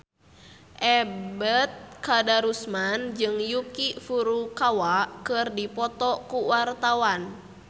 Ebet Kadarusman jeung Yuki Furukawa keur dipoto ku wartawan